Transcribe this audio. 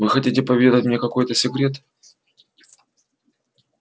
вы хотите поведать мне какой-то секрет